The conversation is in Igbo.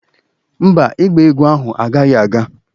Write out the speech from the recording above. Mba, ịgba egwu ahụ agaghị aga